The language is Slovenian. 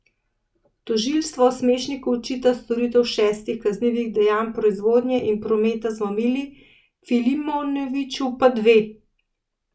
Tožilstvo Smešniku očita storitev šestih kaznivih dejanj proizvodnje in prometa z mamili, Filimonoviću pa dve.